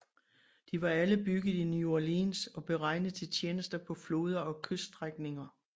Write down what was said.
De var alle bygget i New Orleans og beregnet til tjeneste på floder og kyststrækninger